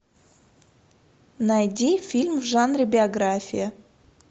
найди фильм в жанре биография